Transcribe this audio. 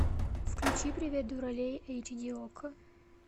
включи привет дуралей эйч ди окко